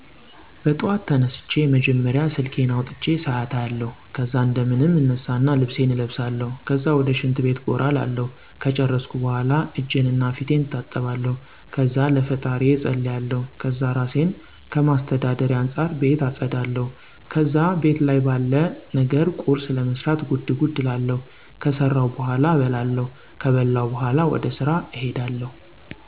በጠዋት ተነስቸ መጀመሪያ ስልኬን አውጥቸ ሰአት አያለሁ። ከዛ እንደምንም እነሳና ልብሴን እለብሳለሁ። ከዛ ወደ ሽንት ቤት ጎራ እላለሁ። ከጨረስኩ በኋላ እጀንና ፊቴን እታጠባለሁ። ከዛ ለፈጣሪየ እፀልያለሁ። ከዛ እራሴን ከማስተዳደሬ አንፃር ቤት አፀዳለሁ። ከዛ ቤት ላይ ባለ ነገር ቁርስ ለመስራት ጉድ ጉድ እላለሁ። ከሰራሁ በኋላ እበላለሁ። ከበላሁ በኋላ ወደ ስራ እሄዳለሁ።